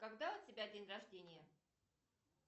когда у тебя день рождение